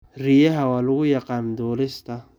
Riyaha waxa lagu yaqaanaa duulista.